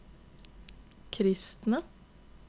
kristne